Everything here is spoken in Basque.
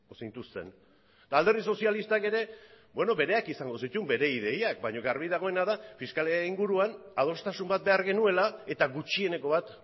zintuzten eta alderdi sozialistak ere bereak izango zituen bere ideiak baina argi dagoena da fiskalitatearen inguruan adostasun bat behar genuela eta gutxieneko bat